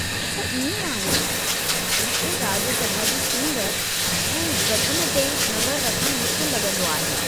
अछा इएं आहे। मूंखे राज्य सभा जी चूंड ऐं गठन ते नज़र रखणु मुश्किल लॻंदो आहे।